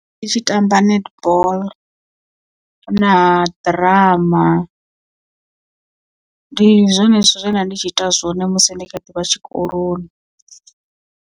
Ndi tshi tamba netball na ḓirama ndi zwone zwithu zwe nda ndi tshi ita zwone musi ndi kha ḓi vha tshikoloni.